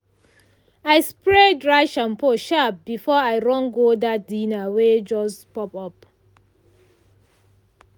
i spray dry shampoo sharp before i run go that dinner wey just pop up.